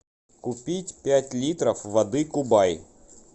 купить пять литров воды кубай